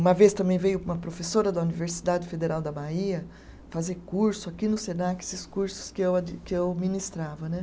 Uma vez também veio uma professora da Universidade Federal da Bahia fazer curso aqui no Senac, esses cursos que eu ad, que eu ministrava né.